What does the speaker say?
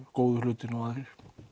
góðu hlutina og aðrir